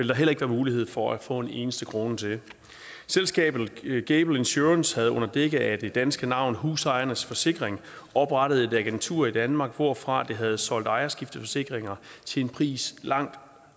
der heller ikke være mulighed for at få en eneste krone til selskabet gable insurance ag havde under dække af det danske navn husejernes forsikring oprettet et agentur i danmark hvorfra det havde solgt ejerskifteforsikringer til en pris langt